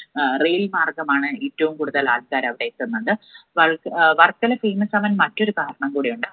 ഏർ rail മാർഗമാണ് ഏറ്റവും കൂടുതൽ ആൾക്കാർ അവിടെ എത്തുന്നത് വൾ ആഹ് വർക്കല famous ആവാൻ മറ്റൊരു കാരണം കൂടിയുണ്ട്